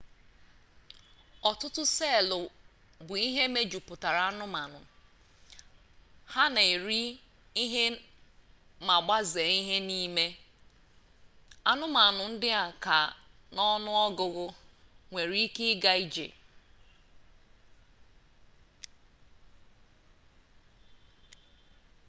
ọtụtụ seelụ bụ ihe mejupụtara anụmanụ ha na-eri ihe ma gbazee ha n'ime anụmanụ ndị ka n'ọnụ ọgụgụ nwere ike ịga ije